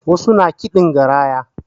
Wasu na kiɗin garaya